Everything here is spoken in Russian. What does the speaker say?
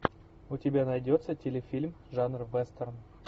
у тебя найдется телефильм жанра вестерн